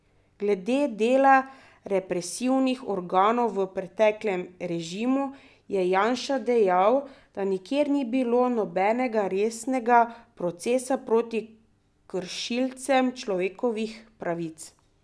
Glede dela represivnih organov v preteklem režimu je Janša dejal, da nikjer ni bilo nobenega resnega procesa proti kršilcem človekovih pravic.